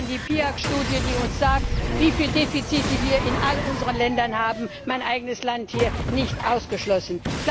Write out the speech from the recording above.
Denken Sie an die Pisa Studie, die uns sagt, welche Defizite wir in all unseren Ländern haben mein eigenes Land hier nicht ausgeschlossen.